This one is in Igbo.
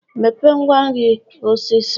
Mepee ngwa nri a osiso.